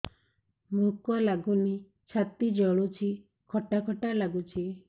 ଭୁକ ଲାଗୁନି ଛାତି ଜଳୁଛି ଖଟା ଖଟା ଲାଗୁଛି